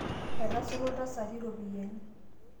etasoto iltasati iropiyiani